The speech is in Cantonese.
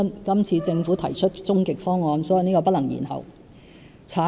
今次政府提出終極方案，所以這是不能延後的。